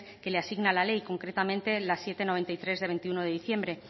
que le asigna la ley concretamente la siete barra noventa y tres de veintiuno de diciembre